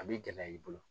A b'i gɛlɛya i bolo